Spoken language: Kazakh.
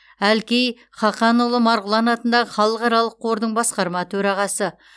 әлкей хақанұлы марғұлан атындағы халықаралық қордың басқарма төрағасы